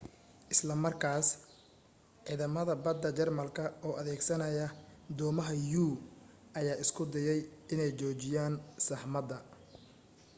isla markaas ciidamada badda jarmalka oo adeegsanaya doomaha u ayaa isku dayay inay joojiyaan saxmadda